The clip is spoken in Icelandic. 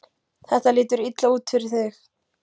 Þetta lítur illa út fyrir þig